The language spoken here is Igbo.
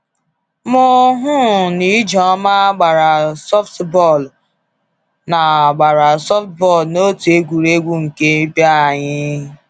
Mụ um na Ijeọma gbara softball na gbara softball na otu egwuregwu nke b'anyị.